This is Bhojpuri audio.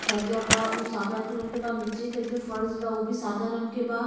छज़्ज़ा बा उ सादा कलर बा। नीचे के जो फर्स बा उ भी सादा रंग के बा।